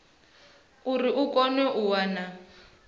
uri i kone u wana